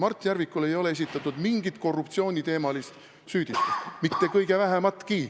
Mart Järvikule ei ole esitatud mingit korruptsiooniteemalist süüdistust, mitte kõige vähematki.